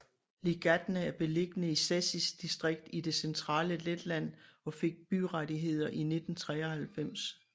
Līgatne er beliggende i Cēsis distrikt i det centrale Letland og fik byrettigheder i 1993